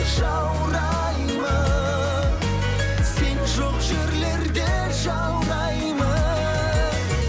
жаураймын сен жоқ жерлерде жаураймын